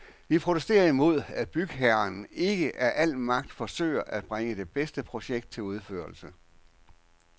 Vi protesterer imod, at bygherren ikke af al magt forsøger at bringe det bedste projekt til udførelse.